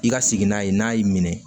I ka sigi n'a ye n'a y'i minɛ